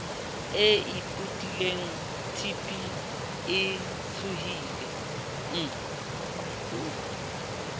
e ipatileng tb e tsohileng